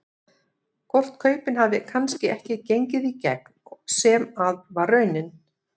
Hvort kaupin hafi kannski ekki gengið í gegn sem að var raunin?